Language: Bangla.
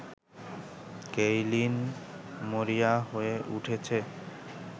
কেইলিন মরিয়া হয়ে উঠেছে